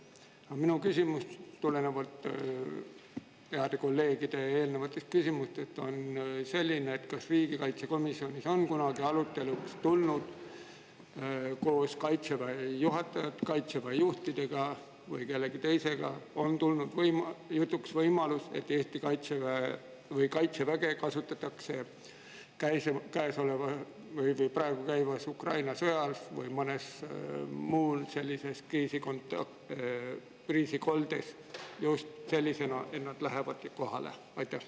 Aga minu küsimus, mis tuleneb heade kolleegide eelnevatest küsimustest, on selline: kas riigikaitsekomisjonis on kunagi arutelu alla tulnud, kas koos Kaitseväe juhtide või kellegi teisega on tulnud jutuks võimalus, et Kaitseväge kasutatakse praegu käimas oleva Ukraina sõja ajal või mõnes muus sellises kriisikoldes just selliselt, et lähevadki kohale?